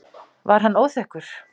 Var hann óþekkur?